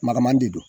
Makaman de don